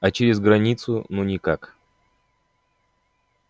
а через границу ну никак